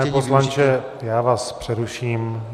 Pane poslanče, já vás přeruším.